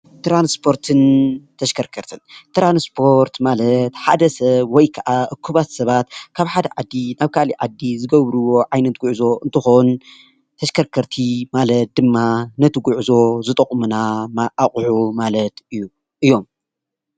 ትራንስፖርትን ተሽከርካሪትን ትራንስፖርት ማለት ሓደ ሰብ ወይ ከዓ እኩባት ሰባት ካብ ሓደ ዓዲ ናብ ካሊእ ዓዲ ዝገብርዎ ዓይነት ጉዕዞ እንትኮን ተሽከርከርቲ ማለት ድማ ነቲ ጉዕዞ ዝጠቅሙና ኣቑሑ ማለት እዩ እዮም።